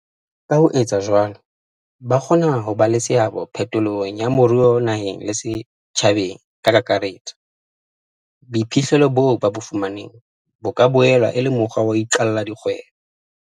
Ka ho etsa jwalo, ba kgona ho ba le seabo phetolong ya moruo naheng le setjhabeng ka kakaretso. Boiphihlelo boo ba bo fumaneng bo ka boela e le mokgwa wa ho iqalla dikgwebo.